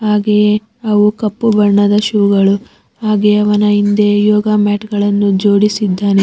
ಹಾಗೆ ಅವು ಕಪ್ಪು ಬಣ್ಣದ ಶೂ ಗಳು ಹಾಗೆ ಅವನ ಹಿಂದೆ ಯೋಗ ಮ್ಯಾಟ್ ಗಳನ್ನು ಜೋಡಿಸಿದ್ದಾನೆ.